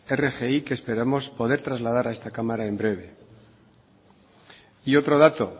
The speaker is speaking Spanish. rgi que esperamos poder trasladar a esta cámara en breve y otro dato